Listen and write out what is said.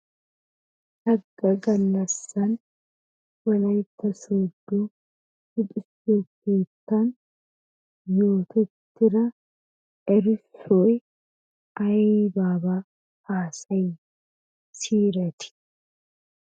Sagga gallassan wolaytta sooddo luxetta keettan yootettida erissoy aybaabaa haasayiy siiyiretii?